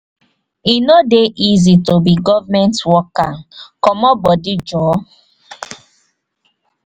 e no dey easy to be government worker comot bodi joor.